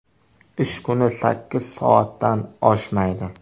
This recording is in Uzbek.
Ish kuni sakkiz soatdan oshmaydi.